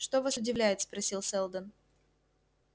что вас удивляет спросил сэлдон